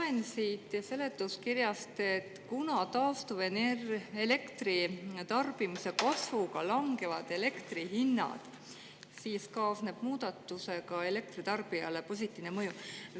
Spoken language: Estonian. Loen siit seletuskirjast, et kuna taastuvelektri tarbimise kasvuga langevad elektri hinnad, siis kaasneb muudatusega elektritarbijale positiivne mõju.